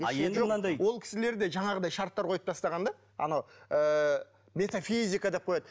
а енді мынандай ол кісілер де жаңағындай шарттар қойып тастаған да анау ыыы метофизика деп қояды